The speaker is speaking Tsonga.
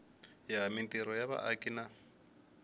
ya mintirho ya vaaki na